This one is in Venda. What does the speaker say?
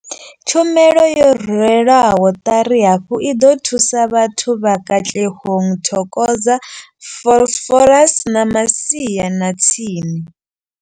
Tshumelo yo rwelwaho ṱari hafhu i ḓo thusa vhathu vha Katlehong, Thokoza, Vosloorus na masia a tsini.